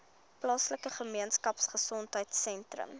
plaaslike gemeenskapgesondheid sentrum